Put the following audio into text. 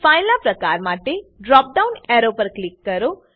file ના પ્રકાર માટે ડ્રોપ ડાઉન એરો પર ક્લિક કરો